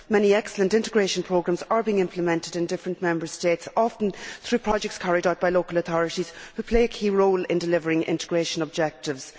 Many excellent integration programmes are being implemented in different Member States, often through projects carried out by local authorities who play a key role in delivering integration objectives.